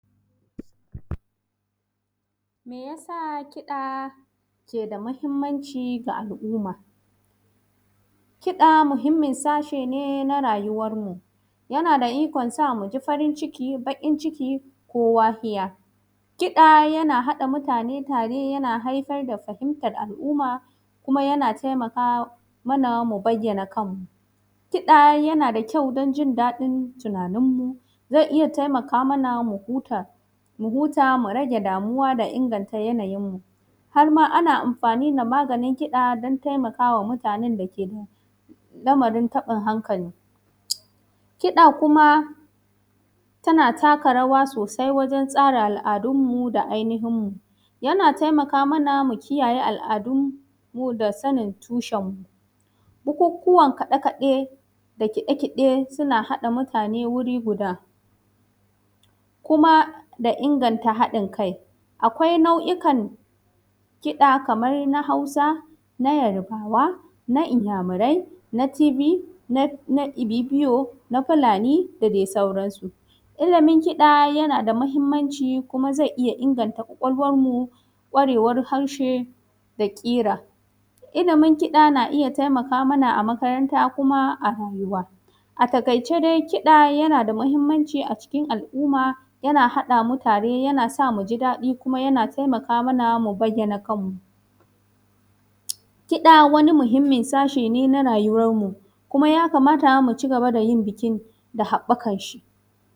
Me ya sa kiɗa yake da muhimmanci ga al’umma? Kiɗa muhimmin sashe ne na rayuwarmu, yana da ikon sa mu ji fain ciki, baƙin ciki ko wahija. Kiɗa yana haɗa mutane tare, yana haifar da fahimtar al’umma, kuma yana taimaka mana mu bayyana kanmu. Kiɗa yana da kyau don jin daɗin tunaninmu, zai iya taimaka mana mu huta, mu huta mu rage damuwanmu da inganta yanayinmu. Har ma ana amfani da maganin kiɗa don taimakawa mutanen da ke da lamarin taɓin hankali. Kiɗa kuma tana taka rawa sosai wajen tsara al’adunmu da ainihinmu. Yana taimaka mana mu kiyaye al’adunmu da sanin tushenmu. Bukukuwan kaɗe-kaɗe da kiɗa-kiɗe suna haɗa mutane wuri guda, kuma da inganta haɗin kai. Akwai nau’ikan kiɗa kamar na Hausa na Yarbawa na Inyamurai na Tiv na na Ibibiyo na Fulani da dai sauransu. Ilimin kiɗa yana da muhimmanshi kuma zai ija inganta kwakwalwarmu, kwarewar harshe da ƙira. Ilimin kiɗa na iya taimaka mana a makaranta kuma a rayuwa. A taƙaice dai kiɗa na da muhimmanci a cikin al’umma, yana haɗa mu tare, yana sa mu ji daɗi kuma yana taimaka mana mu bayyana kanmu. Kiɗa wani muhimmin sashe ne na rayuwarmu kuma yakamata mu cigaba da yin bikin da haɓakanshi.